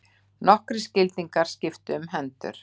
Nokkrir skildingar skiptu um hendur.